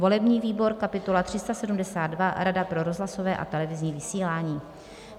volební výbor: kapitola 372 - Rada pro rozhlasové a televizní vysílání,